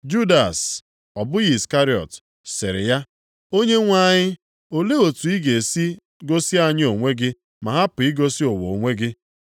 Judas (ọ bụghị Iskarịọt) sịrị ya, “Onyenwe anyị, olee otu ị ga-esi gosi anyị onwe gị ma hapụ igosi ụwa onwe gị?”